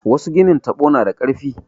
Wasu ginin taɓo na da ƙarfi.